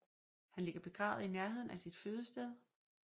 Han ligger begravet i nærheden af sit fødested i St